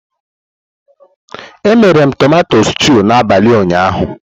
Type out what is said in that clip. Emere m tumato stúu n'abalị ụnyaahụ.